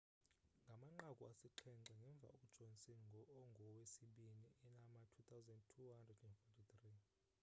ngamanqaku asixhenxe ngemva ujohnson ungowesibini enama 2,243